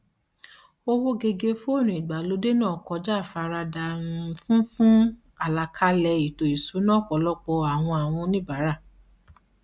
owó gege fóònù ìgbàlódé náà kọja àfaradà um fún fún àlàkalẹ ètò ìṣúná ọpọlọpọ àwọn àwọn oníbàárà